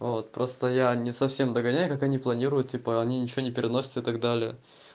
вот просто я не совсем догоняю как они планируют типа они ничего не переносят и так далее